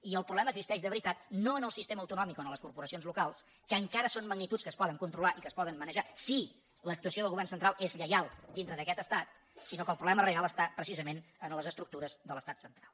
i el problema existeix de veritat no en el sistema autonòmic o en les corporacions locals que encara són magnituds que es poden controlar i que es poden manejar si l’actuació del govern central és lleial dintre d’aquest estat sinó que el problema real està precisament en les estructures de l’estat central